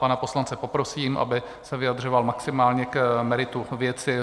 Pana poslance poprosím, aby se vyjadřoval maximálně k meritu věci.